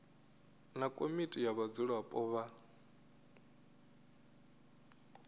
na komiti ya vhadzulapo vha